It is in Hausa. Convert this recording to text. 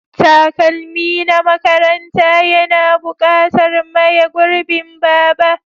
Takalmi na makaranta yana buƙatar maye gurbin Baba.